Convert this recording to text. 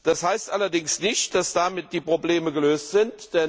Das heißt allerdings nicht, dass damit die Probleme gelöst sind.